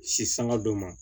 Si sanga dɔ ma